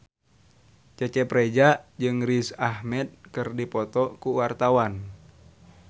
Cecep Reza jeung Riz Ahmed keur dipoto ku wartawan